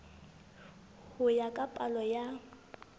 ho ya ka palo ya